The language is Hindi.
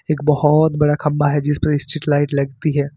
एक बहोत बड़ा खंबा है जिसपे स्ट्रीट लाइट लगती हैं।